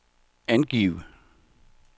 angiv